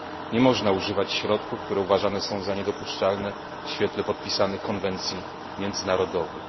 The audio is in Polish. Nie można używać środków, które uważane są za niedopuszczalne w świetle podpisanych konwencji międzynarodowych.